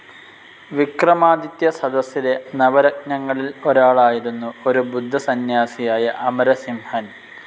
വിക്രമാദിത്യ സദസ്സിലെ നവരത്നങ്ങളിൽ ഒരാളായിരുന്നു ഒരു ബുദ്ധസന്യാസിയായ അമരസിംഹൻ